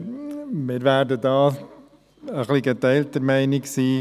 Wir werden da geteilter Meinung sein.